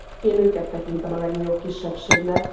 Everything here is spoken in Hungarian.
Én őket tekintem a legnagyobb kisebbségnek.